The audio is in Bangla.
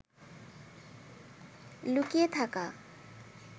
লুকিয়ে থাকা